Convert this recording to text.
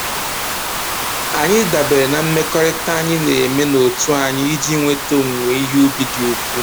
Anyị dabeere na mmekọrịta anyị na-eme n'otu anyị iji nweta owuwe ihe ubi dị ukwu